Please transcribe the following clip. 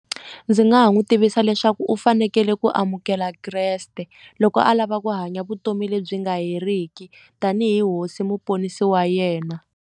Ndzi nga ha n'wi tivisa leswaku u fanekele ku amukela kreste loko a lava ku hanya vutomi lebyi nga heriki tanihi hosi muponisi wa yena.